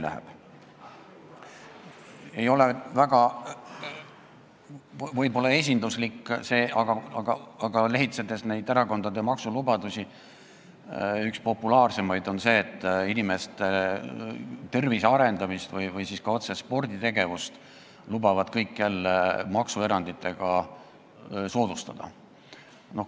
See ei ole võib-olla väga esinduslik näide, aga erakondade maksulubadusi lehitsedes olen näinud, et üks populaarsemaid lubadusi on see, et inimeste tervise edendamist või ka otse sporditegevust lubavad kõik jälle maksueranditega soodustada.